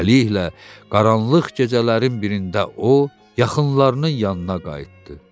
Beləliklə, qaranlıq gecələrin birində o, yaxınlarının yanına qayıtdı.